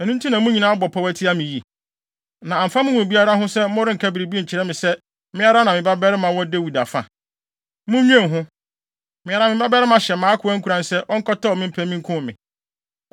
Ɛno nti na mo nyinaa abɔ pɔw atia me yi? Na amfa mo mu biara ho sɛ morenka biribi nkyerɛ me se me ara me babarima wɔ Dawid afa. Munnwen ho! Me ara me babarima hyɛ mʼakoa nkuran sɛ ɔnkɔtɛw me mpɛ me nkum me!”